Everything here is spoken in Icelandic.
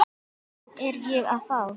Hvern er ég að fá?